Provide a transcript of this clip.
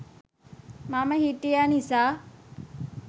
මම හිටිය නිසා